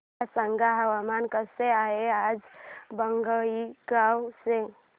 मला सांगा हवामान कसे आहे आज बोंगाईगांव चे